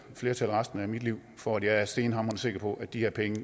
flertal resten af mit liv for at jeg er stenhamrende sikker på at de her penge